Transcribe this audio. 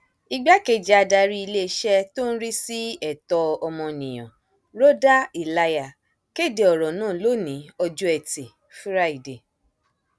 igbákejì adarí iléeṣẹ tó ń rí sí ẹtọ ọmọnìyàn rọdà ìlàyà ló kéde ọrọ náà lónìí ọjọ etí furuufee